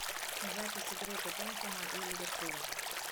запись игры тоттенхэма и ливерпуля